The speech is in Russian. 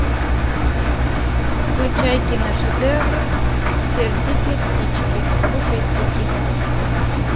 включай кино шедевр сердитые птички пушистики